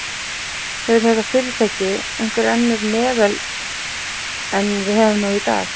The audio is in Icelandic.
Hefur þetta fyrirtæki einhver önnur meðöl en við höfum nú í dag?